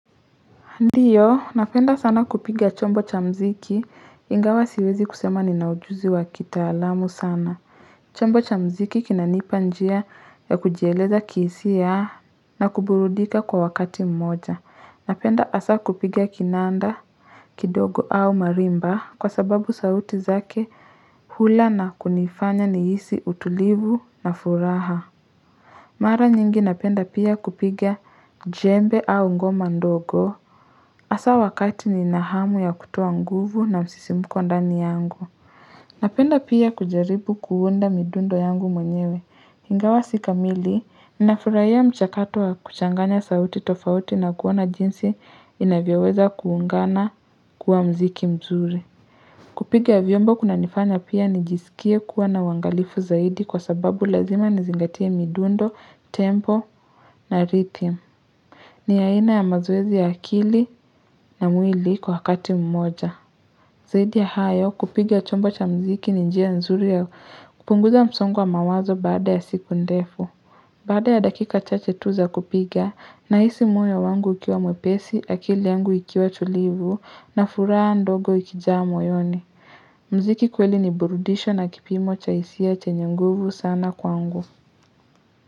Ndiyo, napenda sana kupiga chombo cha mziki, ingawa siwezi kusema ninaujuzi wa kitaalamu sana. Chombo cha mziki kinanipa njia ya kujieleza kihisia na kuburudika kwa wakati mmoja. Napenda hasa kupiga kinanda, kidogo au marimba kwa sababu sauti zake hula na kunifanya nihisi utulivu na furaha. Mara nyingi napenda pia kupiga jembe au ngoma ndogo. Asa wakati ninahamu ya kutoa nguvu na msisimuko ndani yangu. Napenda pia kujaribu kuunda midundo yangu mwenyewe. Ingawa si kamili, ninafurahia mchakato wa kuchanganya sauti tofauti na kuona jinsi inavyaweza kuungana kuwa mziki mzuri. Kupiga viombo kuna nifanya pia nijisikie kuwa na uwangalifu zaidi kwa sababu lazima nizingatia midundo, tempo na rithim. Ni aina ya mazoezi ya akili na mwili kwa hakati mmoja. Zaidi ya hayo kupiga chombo cha mziki ni njia nzuri ya kupunguza msongo wa mawazo baada ya siku ndefu. Baada ya dakika chache tu za kupiga nahisi moyo wangu ikiwa mwepesi, akili yangu ikiwa tulivu na furaha ndogo ikijaa moyoni. Mziki kweli ni burudisho na kipimo cha hisia chenye nguvu sana kwangu.